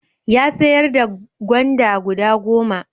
Ya sayar da gwanda guda goma.